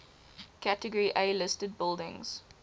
category a listed buildings